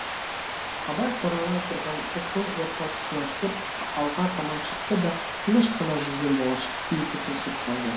абай қоралай тұрған топтың орта тұсына кеп алға таман шықты да тыныш қана жүзбен болашақ күйді тосып қалды